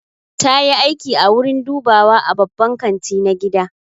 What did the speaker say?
Ta yi aiki a wurin dubawa a babban kanti na gida.